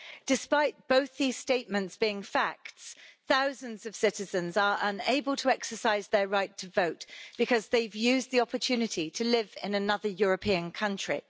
Despite both these statements being facts, thousands of citizens are unable to exercise their right to vote because they've used the opportunity to live in another European country.